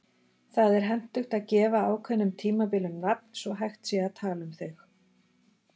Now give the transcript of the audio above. Það er hentugt að gefa ákveðnum tímabilum nafn svo hægt sé að tala um þau.